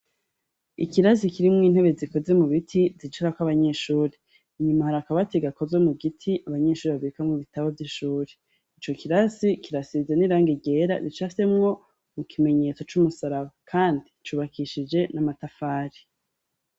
Ikirasi kirimw intebe zikoze mu biti zicara kw abanyeshuri inyuma hari akabatu gakoz mu giti. Abanyeshuri babirika mu bitabo vy'ishuri .ico kirasi kirasize n'irang igera ricasemwo mu kimenyetso c'umusaraba kandi cubakishije n'amatafari.